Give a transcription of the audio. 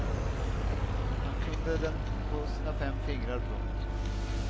Han kunde den på sina fem fingrar. punkt